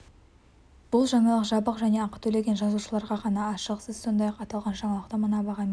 бұл жаңалық жабық және ақы төлеген жазылушыларға ғана ашық сіз сондай-ақ аталған жаңалықты мына бағамен де